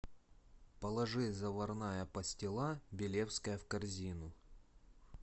положи заварная пастила белевская в корзину